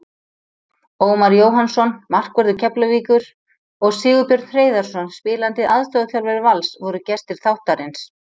Ómar Jóhannsson, markvörður Keflavíkur, og Sigurbjörn Hreiðarsson, spilandi aðstoðarþjálfari Vals, voru gestir þáttarins.